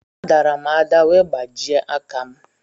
A dàrà m ada wee gbajie aka m